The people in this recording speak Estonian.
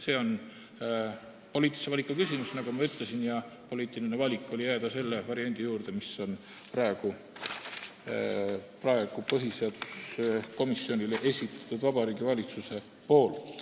See on poliitilise valiku küsimus, nagu ma ütlesin, ja poliitiline valik oli jääda selle variandi juurde, mille on praegu põhiseaduskomisjonile esitanud Vabariigi Valitsus.